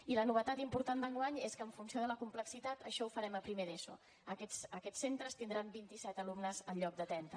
i la novetat important d’enguany és que en funció de la complexitat això ho farem a primer d’eso aquests centres tindran vint i set alumnes en lloc de trenta